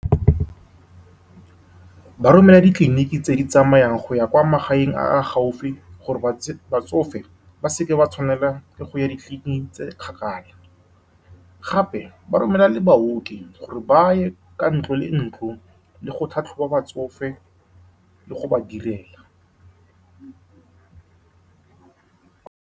Ba romela ditleliniki tse di tsamayang go ya kwa magaeng a a gaufi, gore batsofe ba seka ba tshwanelwa ke go ya ditleliniking tse di kgakala. Gape, ba romela le baoki gore ba ye ka ntlo le ntlo, ba tlhatlhobe batsofe le go ba direla.